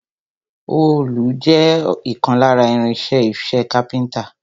Òòlù jẹ́ ìkan lára irin-iṣẹ́ iṣẹ́ káfíńńtà.